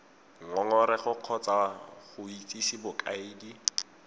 ngongorego kgotsa go itsise bokaedi